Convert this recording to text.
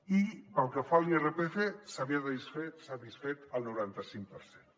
i pel que fa a l’irpf se n’havia satisfet el noranta cinc per cent